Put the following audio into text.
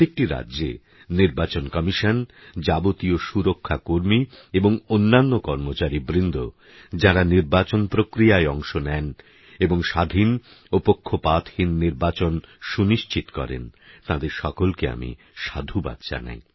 প্রত্যেকটি রাজ্যে নির্বাচন কমিশন যাবতীয় সুরক্ষা কর্মী এবং অন্যান্য কর্মচারীবৃন্দ যাঁরা নির্বাচন প্রক্রিয়ায় অংশ নেন এবং স্বাধীন ও পক্ষপাতহীন নির্বাচন সুনিশ্চিত করেন তাঁদের সকলকে আমি সাধুবাদ জানাই